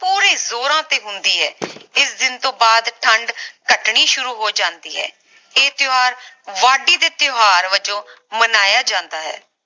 ਪੂਰੇ ਜੋਰਾਂ ਤੇ ਹੁੰਦੀ ਹੈ ਇਸ ਦਿਨ ਤੋਂ ਬਾਅਦ ਠੰਡ ਘਟਣੀ ਸ਼ੁਰੂ ਹੋ ਜਾਂਦੀ ਹੈ ਇਹ ਤਿਓਹਾਰ ਵਾਢੀ ਦੇ ਤਿਓਹਾਰ ਵਜੋਂ ਮਨਾਇਆ ਜਾਂਦਾ ਹੈ